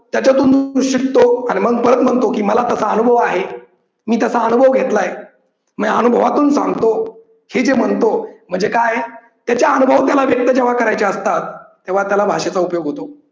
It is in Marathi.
त्याच्यातून तो शिकतो आणि मग आणि मग परत म्हणतो कि मला तसा अनुभव आहे. मी तसा अनुभव घेतलाय म्हणजे अनुभव अनुभवातून चालतो हे जे म्हणतो म्हणजे काय हाय त्याचे अनुभव त्याला व्यक्त जेव्हा करायचे असतात तेव्हा त्याला भाषेचा उपयोग होतो.